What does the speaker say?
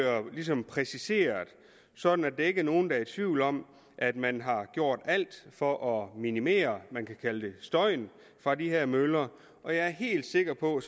præciseret sådan at der ikke er nogen der er i tvivl om at man har gjort alt for at minimere støjen fra de her møller og jeg er helt sikker på at